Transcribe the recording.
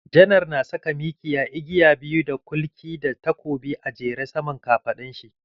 Janar na saka mikiya, igiya biyu da kulki da takobi a jere saman kafaɗun shi.